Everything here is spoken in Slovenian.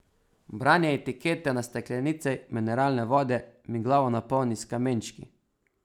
Branje etikete na steklenici mineralne vode mi glavo napolni s kamenčki.